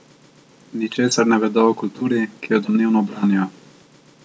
Ničesar ne vedo o kulturi, ki jo domnevno branijo.